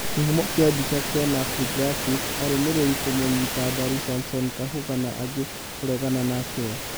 Kĩhumo kia mbica kenfr graphics arũmĩrĩri kũmũnyita mbaru samsom kahuga na angĩ kũregana nake